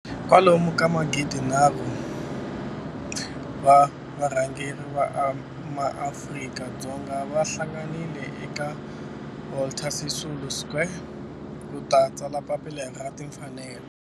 Kwalomu ka magidi nharhu wa varhangeri va maAfrika-Dzonga va hlanganile eka Walter Sisulu Square ku ta tsala Papila ra Timfanelo.